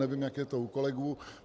Nevím, jak je to u kolegů.